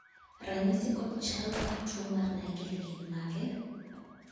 ranyisi kod chal mar tuo mar naegeli gin mage?